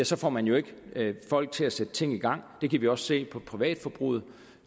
så får man jo ikke folk til at sætte ting i gang det kan vi også se på privatforbruget